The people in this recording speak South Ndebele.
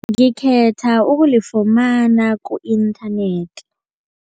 Ngikhetha ukulifumana ku-inthanethi.